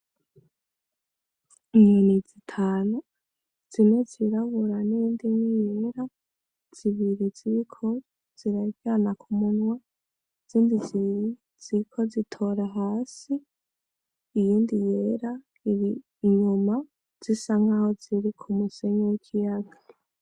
Inyoni zitanu zine zirabura n'iyindi imwe yera, zibiri ziriko ziraryana ku munwa, izindi zibiri ziriko zitora hasi, iyindi yera iri inyuma, zisa nkaho ziri ku musenyi w'ikiyaga.